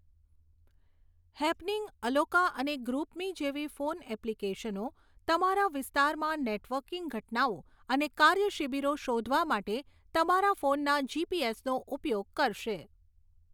Happening, અલોકા અને GroupMe જેવી ફોન એપ્લીકેશનો તમારા વિસ્તારમાં નેટવર્કિંગ ઘટનાઓ અને કાર્યશિબિરો શોધવા માટે તમારા ફોનના જીપીએસનો ઉપયોગ કરશે.